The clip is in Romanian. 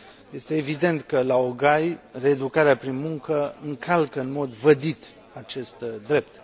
Este evident că laogai, reeducarea prin muncă, încalcă în mod vădit acest drept.